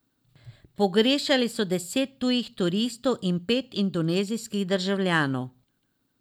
Pogrešali so deset tujih turistov in pet indonezijskih državljanov.